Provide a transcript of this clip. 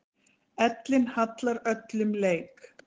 Ellin hallar öllum leik.